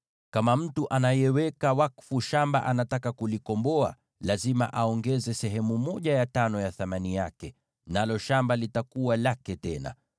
Kama mtu anayeweka wakfu shamba anataka kulikomboa, lazima aongeze sehemu ya tano ya thamani yake, nalo shamba litakuwa lake tena.